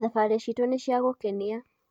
thabarĩ citu nĩ cia gũkenia